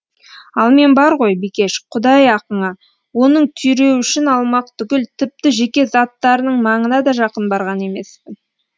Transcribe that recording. ал мен бар ғой бикеш құдай ақыңа оның түйреуішін алмақ түгіл тіпті жеке заттарының маңына да жақын барған емеспін